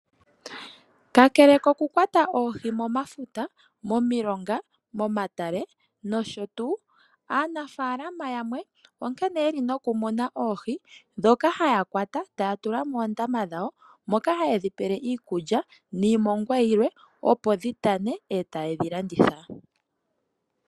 Kakele koku kwata oohi momafuta, momilonga, momatale nosho tuu, aanafaalama yamwe onkene yeli noku mona oohi dhoka haya kwata, taa tula moondama dhawo. Moka ha ye dhi pele iikutya niimongwa yilwe, opo dhi tane e taye dhi landitha.